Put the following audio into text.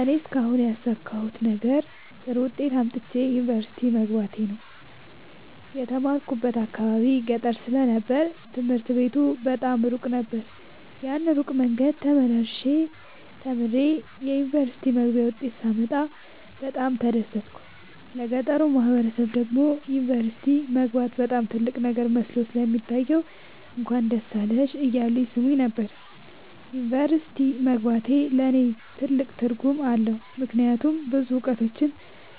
እኔ እስካሁን ያሣካሁት ነገር ጥሩ ዉጤት አምጥቼ ዩኒቨርሲቲ መግባቴ ነዉ። የተማርኩበት አካባቢ ገጠር ስለ ነበር ትምህርት ቤቱ በጣም እሩቅ ነበር። ያን እሩቅ መንገድ ተመላልሸ ተምሬ የዩኒቨርሲቲ መግቢያ ዉጤት ሳመጣ በጣም ነበር የተደሠትኩት ለገጠሩ ማህበረሠብ ደግሞ ዩኒቨርሲቲ መግባት በጣም ትልቅ ነገር መስሎ ስለሚታየዉ እንኳን ደስ አለሽ እያሉ ይሥሙኝ ነበር። ዩኒቨርሢቲ መግባቴ ለኔ ትልቅ ትርጉም አለዉ። ምክያቱም ብዙ እዉቀቶችን